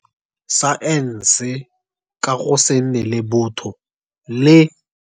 Saense ka go se nne le botho, le.